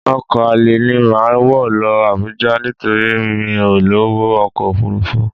Ọkọ alẹ́ ni màá wọ̀ lọ Abuja nítorí mi ò lọ́wọ́ ọkọ̀ Òfurufú